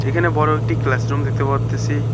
এখানে বড়ো একটি ক্লাসরুম দেখতে পারতেছি।